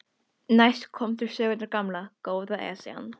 Næst kom til sögunnar gamla, góða Esjan.